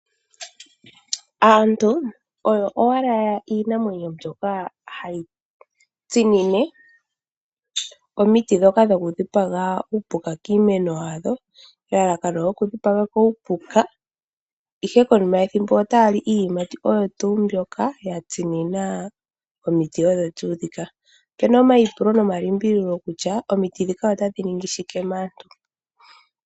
Aantu oyo owala iinamwenyo mbyoka hayi tsinine omiti dhoka dhoku dhipaga uupuka kiimeno yadho. Elalakano lyokudhipako uupuka. Ihe konima yethimbo ota ya li iiyimati kiimeno oyo tuu mbyoka ya tsinina omiti odho tuu dhika. Opena omayipulo nomalimbililo kutya, omiti dhika otadhi ningi shike maantu.